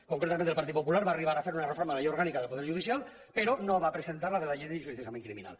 concretament el partit popular va arribar a fer una reforma de la llei orgànica del poder judicial però no va presentar la de la llei d’enjudiciament criminal